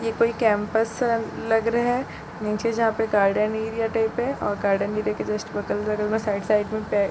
ये कोई कैंपस लग रहा नीचे जहाँ पे गार्डन एरिया टाइप है और गार्डन एरिया के जस्ट बगल में साइड साइड में पै--